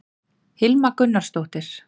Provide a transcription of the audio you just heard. hilma gunnarsdóttir